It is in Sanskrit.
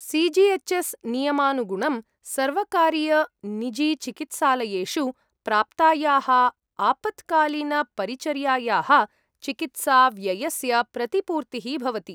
सी जी एच् एस् नियमानुगुणं सर्वकारीयनिजीचिकित्सालयेषु प्राप्तायाः आपत्कालीनपरिचर्यायाः चिकित्साव्ययस्य प्रतिपूर्तिः भवति।